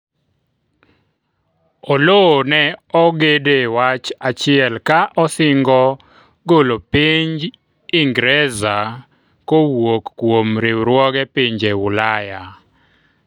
Oloo ne ogede wach achiel-ka osingo golo piny Ingreza kowuok kuom riwruoge pinje Ulaya